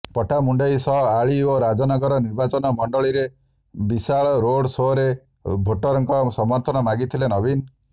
ପଟ୍ଟାମୁଣ୍ଡାଇ ସହ ଆଳି ଓ ରାଜନଗର ନିର୍ବାଚନ ମଣ୍ଡଳୀରେ ବିଶାଳ ରୋଡ୍ ସୋରେ ଭୋଟରଙ୍କ ସମର୍ଥନ ମାଗିଥିଲେ ନବୀନ